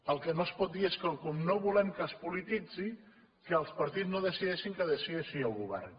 el que no es pot dir és que com no volem que es polititzi que els partits no ho decideixin que ho decideixi el govern